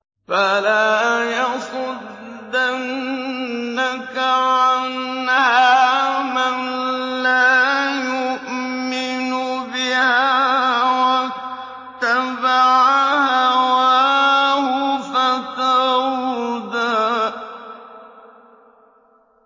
فَلَا يَصُدَّنَّكَ عَنْهَا مَن لَّا يُؤْمِنُ بِهَا وَاتَّبَعَ هَوَاهُ فَتَرْدَىٰ